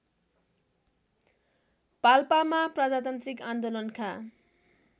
पाल्पामा प्रजातान्त्रिक आन्दोलनका